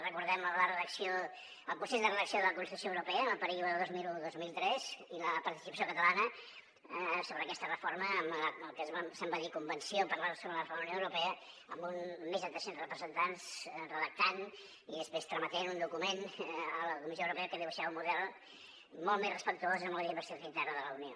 recordem el pro·cés de redacció de la constitució europea en el període dos mil un·dos mil tres i la participació catalana sobre aquesta reforma del que se’n va dir convenció catalana per la re·forma de la unió europea amb més de tres·cents representants redactant i després trametent un document a la comissió europea que dibuixava un model molt més respectuós amb la diversitat interna de la unió